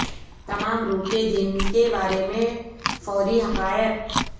تمام روح کے دن کے بارے میں فوری حقائق